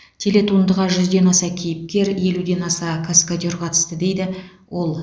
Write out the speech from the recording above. телетуындыға жүзден аса кейіпкер елуден аса каскадер қатысты дейді ол